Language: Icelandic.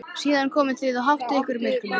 Síðan komið þið og háttið ykkur í myrkrinu.